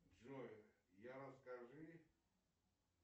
джой я расскажи